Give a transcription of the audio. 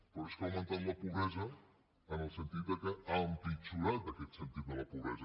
però és que ha augmentat la pobresa en el sentit que ha empitjorat aquest sentit de la pobresa